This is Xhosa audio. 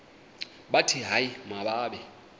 bathi hayi mababe